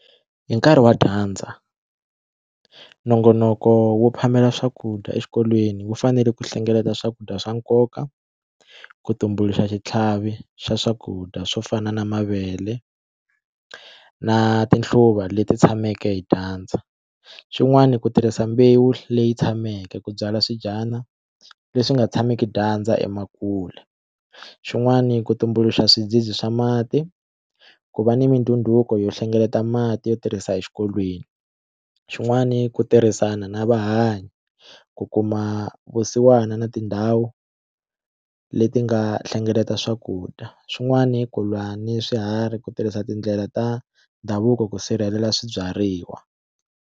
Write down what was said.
Hi nkarhi wa dyandza nongonoko wo phamela swakudya exikolweni wu fanele ku hlengeleta swakudya swa nkoka ku tumbuluxa xitlhavi xa swakudya swo fana na mavele na tinhluva leti tshameke hi dyandza xin'wani ku tirhisa mbewu leyi tshameke ku byala leswi nga tshameki dyandza xin'wani ku tumbuluxa swidzidzi swa mati ku va ni mindhundhuko yo hlengeleta mati yo tirhisa exikolweni xin'wani ku tirhisana na ku kuma vusiwana na tindhawu leti nga hlengeleta swakudya swin'wani ku lwa ni swiharhi ku tirhisa tindlela ta ndhavuko ku sirhelela swibyariwa.